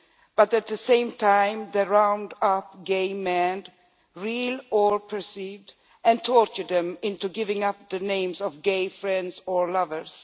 But at the same time they round up gay men, real or perceived, and torture them into giving up the names of gay friends or lovers.